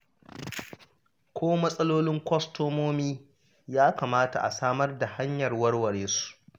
Ko matsalolin kwastomomi ya kamata a samar da hanyar warware su